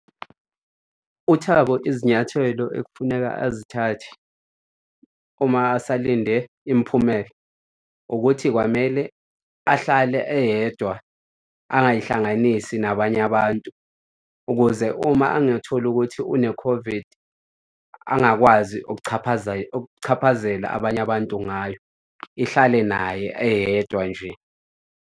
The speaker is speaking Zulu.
UThabo izinyathelo ekufuneka azithathe uma asalinde imiphumela ukuthi kwamele ahlale eyedwa angayihlanganisi nabanye abantu ukuze uma angatholi ukuthi une-COVID angakwazi ukuchaphazela abanye abantu ngayo. Ihlale naye eyedwa nje.